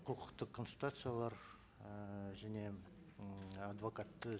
құқықтық консультациялар ыыы және м адвокатты